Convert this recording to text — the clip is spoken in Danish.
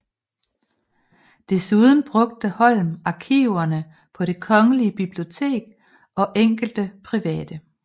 Desuden brugte Holm arkiverne på det Kongelige Bibliotek og enkelte private